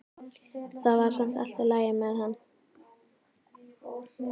Það var samt allt í lagi með hann.